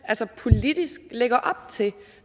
politisk lægger op til